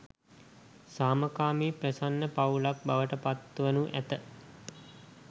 සාමකාමී ප්‍රසන්න පවුලක් බවට පත්වනු ඇත.